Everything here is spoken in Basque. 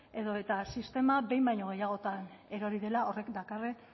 edo eta sistema behin baino gehiagotan erori dela horrek dakarren